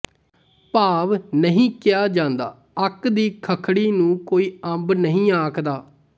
ਭਾਵ ਨਹੀਂ ਕਿਹਾ ਜਾਂਦਾ ਅੱਕ ਦੀ ਖੱਖੜੀ ਨੂੰ ਕੋਈ ਅੰਬ ਨਹੀਂ ਆਖਦਾ